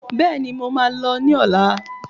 Béèni, mo máa lọ ní ọ̀la